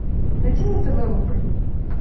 найди на тв рубль